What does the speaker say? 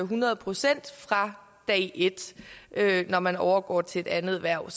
hundrede procent fra dag et når man overgår til et andet hverv